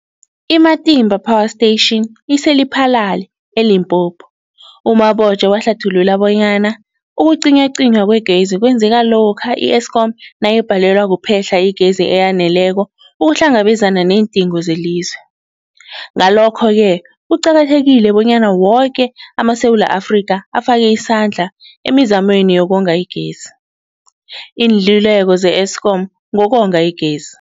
I-Matimba Power Station ise-Lephalale, eLimpopo. U-Mabotja wahlathulula bonyana ukucinywacinywa kwegezi kwenzeka lokha i-Eskom nayibhalelwa kuphe-hla igezi eyaneleko ukuhlangabezana neendingo zelizwe. Ngalokho-ke kuqakathekile bonyana woke amaSewula Afrika afake isandla emizameni yokonga igezi. Iinluleko ze-Eskom ngokonga igezi.